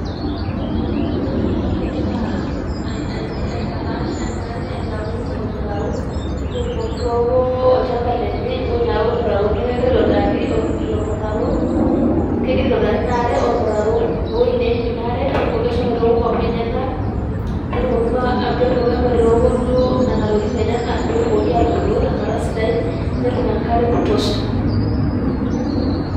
kadolita oltungani ogira aa aitapaash enkare aitau ormutaro petumoki aitooko olchamba lenye ina are ormutaro niaku keira aitobiraki ilo mutaro, kegira aitobiraki inaare ormutaro ewuiei neim ina aare petumoki ashomo aitooko maua enyenak